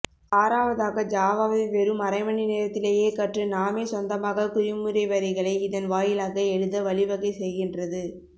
ஆறாவதாக ஜாவாவை வெறும் அரைமணிநேரத்திலேயே கற்று நாமே சொந்தமாக குறிமுறைவரிகளை இதன் வாயிலாக எழுதவழிவகை செய்கின்றது